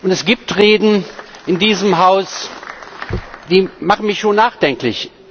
Es gibt Reden in diesem Haus, die machen mich schon nachdenklich.